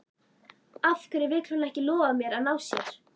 Af hverju vill hún ekki lofa mér að ná sér?